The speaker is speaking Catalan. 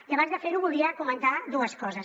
i abans de ferho volia comentar dues coses